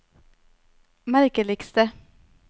merkeligste